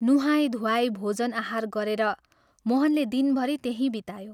नुहाई धुवाई भोजन आहार गरेर मोहनले दिनभरि त्यहीं बितायो।